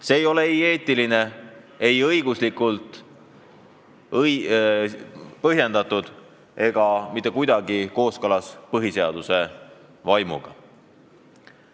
See ei ole eetiline, see ei ole õiguslikult põhjendatud ega mitte kuidagi kooskõlas põhiseaduse vaimuga.